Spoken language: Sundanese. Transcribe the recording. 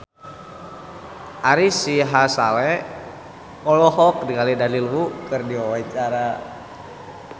Ari Sihasale olohok ningali Daniel Wu keur diwawancara